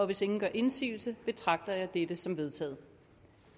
hvis ingen gør indsigelse betragter jeg dette som vedtaget